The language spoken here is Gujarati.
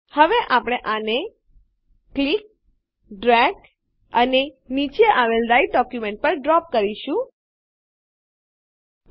હવે આપણે આને ક્લિક દબાવવું ડ્રેગ ખસેડવું અને નીચે આવેલ રાઈટર ડોક્યુંમેંટ પર ડ્રોપ એક જગ્યાએ મુકવું કરીશું